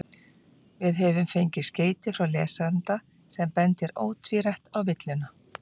Við höfum fengið skeyti frá lesanda sem bendir ótvírætt á villuna.